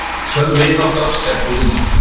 Sönn vinátta er dýrmæt.